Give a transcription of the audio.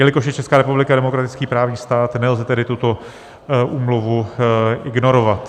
Jelikož je Česká republika demokratický právní stát, nelze tedy tuto úmluvu ignorovat.